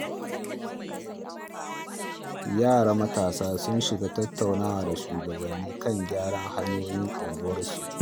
Yara matasa sun shiga tattaunawa da shugabanni kan gyaran hanyoyin unguwarsu.